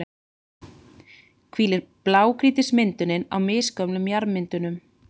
hvílir blágrýtismyndunin á misgömlum jarðmyndunum.